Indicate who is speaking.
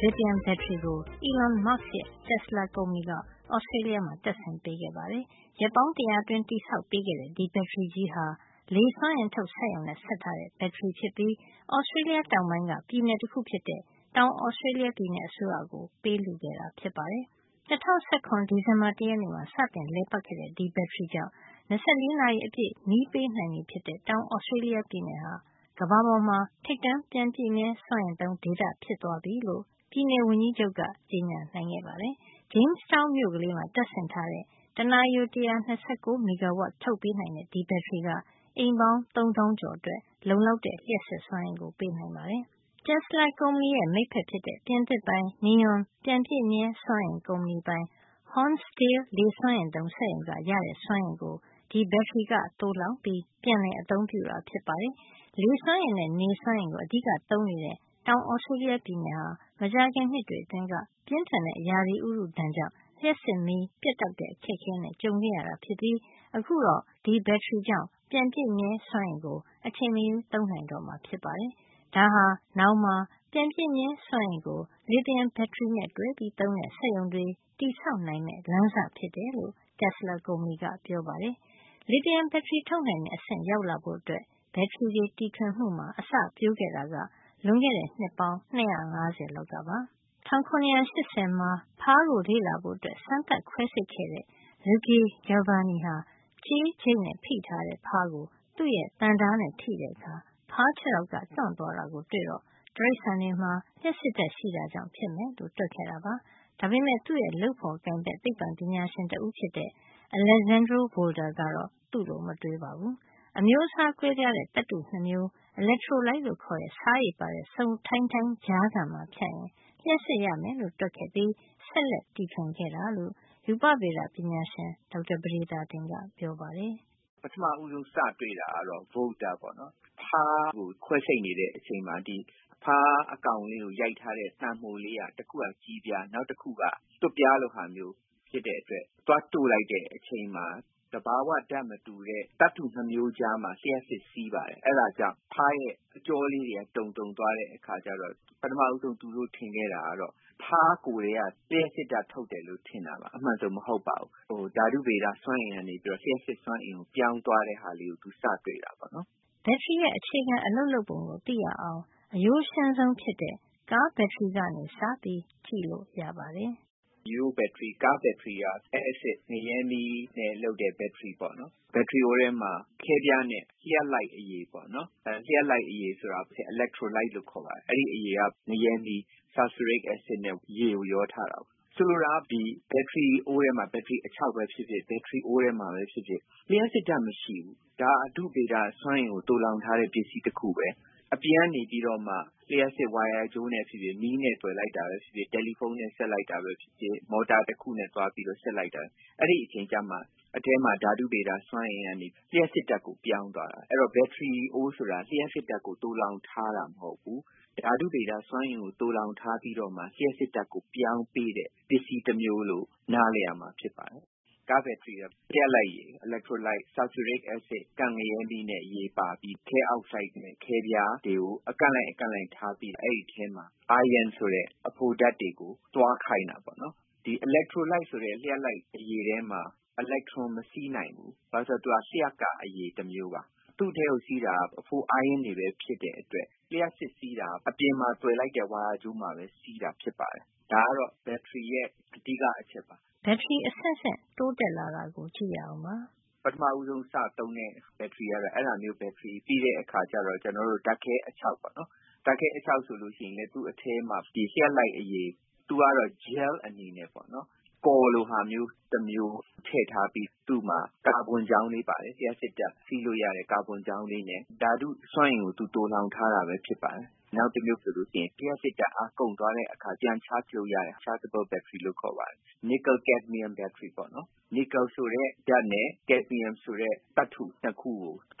Speaker 1: လစ်သီယမ် ဘက်ထရီကို Elon Musk ရဲ့ Tesla ကုမ္ပဏီက Australia မှာ တပ်ဆင်ပေးခဲ့ပါတယ်။ ရက်ပေါင်း တရာအတွင်း တည်ဆောက်ပေးခဲ့တဲ့ ဒီဘက်ထရီကြီးဟာ လေစွမ်းအင် ထုတ်စက်ရုံနဲ့ ဆက်ထားတဲ့ ဒီဘက်ထရီ ဖြစ်ပြီး Australia တောင်ပိုင်းက ပြည်နယ်တခု ဖြစ်တဲ့ တောင် Australia ပြည်နယ်အစိုးရကို ပေးလှုခဲ့တာ ဖြစ်ပါတယ်။ ၂၀၁၇ ဒီဇင်ဘာ ၁ရက်နေ့မှာ စတင်လည်ပတ်ခဲ့တဲ့ ဒီဘက်ထရီကြောင့် ၂၄ နာရီ အပြည့် မီးပေးနိုင်ပြီဖြစ်တဲ့ တောင် Australia ပြည်နယ်ဟာ ကမ္ဘာပေါ်မှာ ထိပ်တန်း ပြန်ပြည့်မြဲစွမ်းအင်သုံး ဒေသဖြစ်သွားပြီလို့ ပြည်နယ်ဝန်ကြီးချုပ်က ကြေညာနိုင်ခဲ့ပါတယ်။ Jamestown မြို့လေးမှာ တပ်ဆင်ထားတဲ့ တနာရီကို ၁၂၉ မီဂါဝပ် ထုတ်ပေး နိုင်တဲ့ ဒီဘက်ထရီက အိမ်ပေါင်း ၃ သောင်းကျော် အတွက် လုံလောက်တဲ့ လျှပ်စစ်စွမ်းအင်ကို ပေးနိုင်ပါတယ်။ Telsa ကုမ္ပဏီရဲ့ မိတ်ဖက်ဖြစ်တဲ့ ပြင်သစ်ပိုင် Neoen ပြန်ပြည့်မြဲစွမ်းအင် ကုမ္ပဏီ ပိုင် Hornsdale လေစွမ်းအားသုံး စက်ရုံက ရတဲ့ စွမ်းအင်ကို ဒီဘက်ထရီက သိုလှောင်ပြီး ပြန်လည် အသုံးပြုတာ ဖြစ်ပါတယ်။ လေစွမ်းအင်နဲ့ နေစွမ်းအင်ကို အဓိက သုံးနေတဲ့ တောင် Australia ပြည်နယ်ဟာ မကြာခင် နှစ်တွေ အတွင်းက ပြင်းထန်တဲ့ ရာသီဥတု ဒဏ်ကြောင့် လျှပ်စစ်မီး ပြတ်တောက်တဲ့ အခက်အခဲနဲ့ ကြုံခဲ့ရတာဖြစ်ပြီး အခုတော့ ဒီဘက်ထရီကြောင့် ပြန်ပြည့်မြဲ စွမ်းအင်ကို အချိန်မရွေးသုံးနိုင်တော့မှာ ဖြစ်ပါတယ်။ ဒါဟာ နောင်မှာ ပြန်ပြည့်မြဲစွမ်းအင်ကို လစ်သီယမ် ဘက်ထရီနဲ့ တွဲသုံးတဲ့ စက်ရုံတွေ တည်ဆောက်နိုင်မယ့် လမ်းစဖြစ်တယ်လို့ Tesla ကုမ္ပဏီက ပြောပါတယ်။ လစ်သီယမ် ဘက်ထရီ ထုတ်နိုင်တဲ့ အဆင့် ရောက်လာဖို့ ဘက်ထရီတွေ တီထွင်မှုအတွက် အစပျိုး ခဲ့တာက လွန်ခဲ့တဲ့ နှစ်ပေါင်း ၂၅၀ လောက်ကပါ။ ၁၇၈၀ မှာ ဖားကို လေ့လာဖို့ စမ်းသပ်ခွဲစိပ်ခဲ့တဲ့ Luigi Galvani ဟာ ကြေးချိတ်နဲ့ ဖိထားတဲ့ ဖားကို သူ့ရဲ့ သံဓါးနဲ့ ထိတဲ့ အခါ ဖားခြေထောက်က တွန့်သွားတာကို တွေ့တော့ တိရိစ္ဆာန်တွေမှာ လျှပ်စစ်ဓါတ်ရှိတာ ကြောင့်ဖြစ်မယ်လို့ တွက်ခဲ့တာပါ။ ဒါပေမယ့် သူ့ရဲ့ လုပ်ဖေါ်ကိုင်ဖက် သိပ္ပံပညာရှင် Alessandro Volta ကတော့ သူ့လို မတွေးပါဘူး။ အမျိုးစား ကွဲပြားတဲ့သတ္တု ၂ မျိုး electrolyte လို့ခေါ်တဲ့ ဆားရည်ပါတဲ့ စိုထိုင်းထိုင်း ကြားခံမှာ ဖြတ်ရင် လျှပ်စစ် ရမယ်လို့ တွက်ခဲ့ပြီး ဆက်လက်တီထွင်ခဲ့တာလို့ ရူပဗေဒပညာရှင် ဒေါက်တာ ပဒေသာတင်က ပြောပါတယ်။
Speaker 2: “ပထမဦၤးဆုံး စတွေ့ သူကတော့ Volter ပါ။ ဖားကို ခွဲစိပ်နေတဲ့ အချိန်မှာ ဖားအကောင် လေး ကို ရိုက်ထားတဲ့ သံမှိုက တခုက ကြေးပြား၊ နောက်တခုက သွပ်ပြားလို ဟာမျိုး ဖြစ်တဲ့ အတွက် သွားတို့လိုက်တဲ့ အချိန်မှာ သဘာဝ ဓါတ်မတူတဲ့ သတ္တု ၂ မျိုးကြားမှာ လျှပ်စစ်စီးပါတယ်။ အဲဒါကြောင့် ဖားရဲ့ အကြောလေးတွေက တုန်တုန် သွားတဲ့ အခါကျတော့ ပထမဦးဆုံး သူတို့ ထင်ခဲ့တာ ကတော့ ဖားကိုယ်ထဲက လျှပ်စစ်ဓါတ် ထုတ်တယ်လို့ ထင်တာပါ။ အမှန်က ဒီလို မဟုတ်ပါဘူး။ ဓါတုဗေဒ စွမ်းအင်ကနေ လျှပ်စစ် စွမ်းအင်ကို ပြောင်း သွားတာလေးကို စပြီးတော့ တွေ့တာ ပေါ့နော်
Speaker 1: ။” ဘက်ထရီတခုရဲ့ အခြေခံ အလုပ်လုပ်ပုံကို သိရအောင် အရိုးရှင်းဆုံး ဖြစ်တဲ့ ကားဘက်ထရီ ကနေ စ
Speaker 2: ပြီး ကြည့်လို့ ရပါတယ်။ “ ရိုးရိုးဘက်ထရီဖြစ်တဲ့ ကားဘက်ထရီဟာ အက်ဆစ် ငရဲမီး နဲ့ လုပ်တဲ့ ဘက်ထရီပါ။ ဘက်ထရီ အိုးထဲမှာ ခဲပြားနဲ့ လျှပ်လိုက်အရည်။ အီလက်ထရိုလိုက် (electrolite) လို့ခေါ်တဲ့ လျှပ်လိုက်ရည် က ငရဲမီး - ဆာလ်ဖျူရစ် အက်ဆစ်နဲ့ ရေကို ရောထားတာပဲ ရှိပါတယ်။ ဆိုလိုတာက ဘက်ထရီအိုးထဲမှာ လျှပ်စစ်ဓါတ် မရှိပါဘူး။ ဘက်ထရီ အခြောက်ပဲ ဖြစ်ဖြစ် အိုး ထဲမှာပဲ ဖြစ်ဖြစ် အထဲမှာ လျှပ်စစ်ဓါတ်မရှိဘူး။ ဓါတုဗေဒ စွမ်းအင်ကို သိုလှောင်ထား တဲ့ ပစ္စည်း တခုပဲ။ အပြင်ကနေပြီးတော့မှ လျှပ်စစ် ဝါယာကြိုးနဲ့ ဖြစ်ဖြစ်၊ မီး နဲ့သွယ်လိုက်တာပဲ ဖြစ်ဖြစ်၊ တယ်လီဖုံး နဲ့ ဆက်လိုက်တာ ပဲဖြစ်ဖြစ် မော်တာ တခုနဲ့ သွားပြီး ဆက်လိုက်တာပဲ ဖြစ်ဖြစ် အဲဒီအချိန်ကျမှ အထဲမှာ ဓါတုဗေဒ စွမ်းအင်ကနေ လျှပ်စစ်ဓါတ်ကို ပြောင်းသွားတာ။ အဲဒီတော့ ဘက်ထရီအိုး ဆိုတာ လျှပ်စစ်ဓါတ်ကို သိုလှောင် ထားတာ မဟုတ်ဖူး။ ဓါတုစွမ်းအင်ကို သိုလှောင် ထားပြီးတော့မှ လျှပ်စစ် ဓါတ်ကို ပြောင်းပေးတဲ့ ပစ္စည်း တမျိုး လို့ နားလည်ရမှာ ဖြစ်ပါတယ်။” “ကားဘက်ထရီက လျှပ်လိုက်ရည် - အီလက်ထရိုလိုက် ဆာလ်ဖျူရစ် ကန့်ငရဲမီးနဲ့ ရေပါပြီး ခဲအောက်ဆိုဒ်နဲ့ ခဲပြားတွေကို အကန့်လိုက် အကန့်လိုက် ထားပြီး အဲဒီထဲမှာ အိုင်းယွန်း ion လို့ ခေါ်တဲ့ အဖိုဓါတ်တွေကို သွားခိုင်တာပေ့ါနော်။ ဒီအီလက်ထရိုလိုက် ဆိုတဲ့ လျှပ်လိုက် အရည်ထဲမှာ အီလက်ထရွန် မစီးနိုင်ဘူး။ ဘာကြောင့်လဲ ဆိုတော့ သူက လျှပ်ကာ အရည် တမျိုးပါ။ သူ့ထဲမှာ စီးတာက အဖို အိုင်းယွန်းတွေပဲ ဖြစ်တဲ့ အတွက် လျှပ်စစ် စီးတာက အပြင်မှာ သွယ်လိုက်တဲ့ ဝါယာကြိုးမှာပဲ စီးတာ ဖြစ်ပါတယ်။ ဒါက တော့ ဘက်ထရီရဲ့ အဓိက အချက်ပါ။
Speaker 1: ” ဘက်ထရီ အဆင့်ဆင့် ပြောင်းလဲ တိုးတက်လာတာကို ကြည့်ရအောင်ပါ။
Speaker 2: “ပထမဆုံး စသုံးတဲ့ ဘက်ထရီက အဲဒါမျိုး ဘက်ထရီပါ။ နောက် ဓါတ်ခဲ အခြောက်ပါ။ အဲဒီ ဓါတ်ခဲ အခြောက် ဆိုရင် သူ့ထဲမှာ ထည့်တဲ့ လျှပ်လိုက်အရည် ကတော့ gel အနေနဲ့ ရှိပါတယ်။ ကော်လို ဟာမျိုး တမျိုး ထည့်ထားပြီး သူ့မှာ ကာဗွန်ချောင်း ကလေးပါတယ်။ လျှပ်စစ်ဓါတ် စီးလို့ရတာ။ သူ့မှာ ကာဗွန်ချောင်း ကလေးနဲ့ ဓါတု စွမ်းအင်ကို သိုလှောင် ထားတာပဲ ဖြစ်ပါတယ်။ နောက်တမျိုး ကတော့ လျှပ်စစ်ဓါတ်အား ကုန်သွားတဲ့ အခါ ပြန်အားသွင်းလို့ ရတဲ့ rechargable battery ဘက်ထရီပါ။ nickel - cadmium နစ်ကယ် - ကက်ဒမီယမ် NiCd ဘက်ထရီပေါ့နော်။ နစ်ကယ်နဲ့ ကက်ဒမီယမ် သတ္တု ၂ ခု